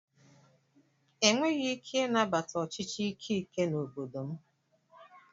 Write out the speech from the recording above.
E nweghị ike ị nabata ọchịchị ike ike n'obodo m.